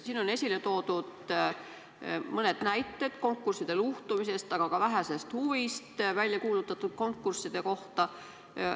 Siin on toodud mõned näited konkursside luhtumisest, aga ka vähesest huvist väljakuulutatud konkursside vastu.